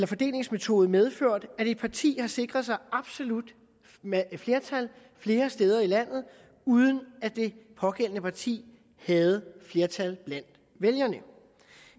fordelingsmetode medført at et parti har sikret sig absolut flertal flere steder i landet uden at det pågældende parti havde flertal blandt vælgerne